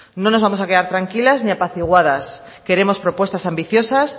no nos vamos a quedar tranquilas ni apaciguadas queremos propuestas ambiciosas